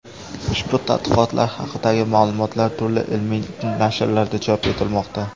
Ushbu tadqiqotlar haqidagi ma’lumotlar turli ilmiy nashrlarda chop etilmoqda.